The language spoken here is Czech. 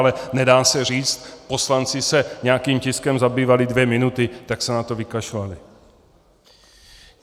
Ale nedá se říct, poslanci se nějakým tiskem zabývali dvě minuty, tak se na to vykašlali.